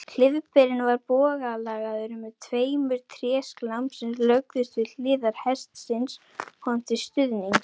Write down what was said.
Klyfberinn var bogalagaður með tveimur tréslám sem lögðust við hliðar hestsins honum til stuðnings.